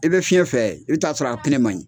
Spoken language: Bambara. I bɛ fiɲɛ fɛ, i bɛ t'a sɔrɔ a pine man ɲi.